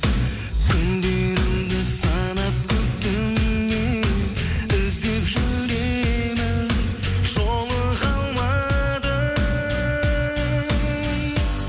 күндерімді санап күтумен іздеп жүремін жолыға алмадым